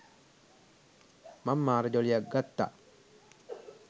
මං මාර ජොලියක් ගත්තා.